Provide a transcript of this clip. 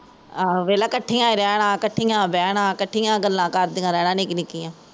ਆਹੋ ਵੇਖਲਾ ਕੱਠੀਆ ਹੀਂ ਰੇਹਣਾ, ਕੱਠੀਆ ਬੇਹਣਾ ਕੱਠੀਆ ਗੱਲਾਂ ਕਰਦੀਆ ਰੇਹਣਾ ਨਿੱਕੀਆ ਨਿੱਕੀਆ